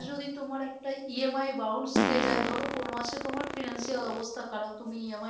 যদি তোমার একটা EMIbounce খেয়ে যায় ধরো কোনো মাসে তোমার finance অবস্থা খারাপ তুমি EMI